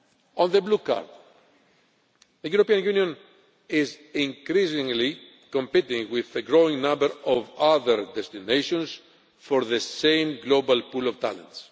On the Blue Card, the European Union is increasingly competing with the growing number of other destinations for the same global pool of talent.